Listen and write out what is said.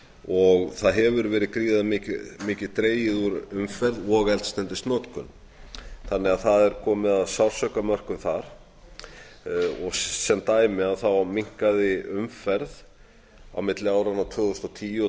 og það hefur verið gríðarmikið dregið úr umferð og eldsneytisnotkun þannig að það er komið að sársaukamörkum þar sem dæmi minnkaði umferð á milli áranna tvö þúsund og tíu og